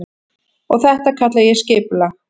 Og þetta kalla ég skipulag.